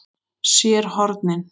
SÉR HORNIN.